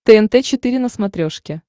тнт четыре на смотрешке